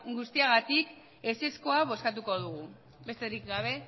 guztiagatik ezezkoa bozkatuko dugu besterik gabe